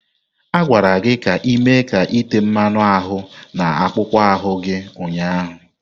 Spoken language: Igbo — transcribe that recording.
A gwara gị ka ị mee ka ite mmanu ahu na akpụkpọ ahụ gị ụnyahụ!